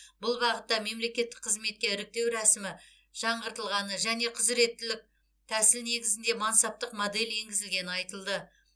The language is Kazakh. бұл бағытта мемлекеттік қызметке іріктеу рәсімі жаңғыртылғаны және құзыреттілік тәсіл негізінде мансаптық модель енгізілгені айтылды